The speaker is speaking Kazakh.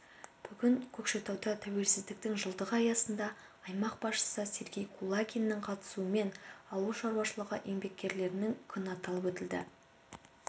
бүгін көкшетауда тәуелсіздіктің жылдығы аясында аймақ басшысы сергей кулагиннің қатысуымен ауыл шаруашылығы еңбеккерлерінің күні аталып өтілді